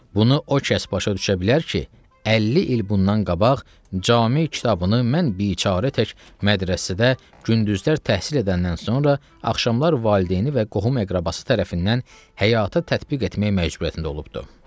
Bunu o kəs başa düşə bilər ki, 50 il bundan qabaq Cami kitabını mən biçara tək mədrəsədə gündüzlər təhsil edəndən sonra axşamlar valideyni və qohum-əqrəbası tərəfindən həyata tətbiq etmək məcburiyyətində olubdur.